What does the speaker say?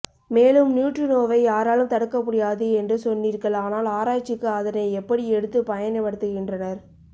மேலும் நியூட்ரினோவை யாரலும் தடுக்க முடியாது என்று சொன்னிர்கள் ஆனால் ஆராய்ச்சிக்கு அதனை எப்படி எடுத்து பயன் படுத்துகின்றனர்